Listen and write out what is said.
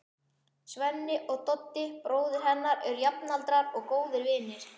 Svenni og Doddi, bróðir hennar, eru jafnaldrar og góðir vinir.